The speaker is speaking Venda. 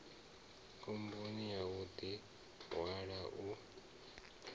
khomboni ya u ḓihwala u